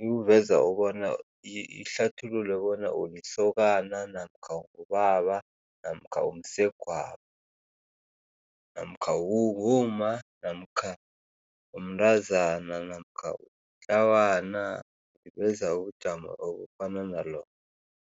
Ikuveza ubona ihlathulule bona ulisokana namkha ungubaba namkha umsegwabo namkha ungumma namkha umntazana namkha ulitlawana, iveza ubujamo obufana nalobo.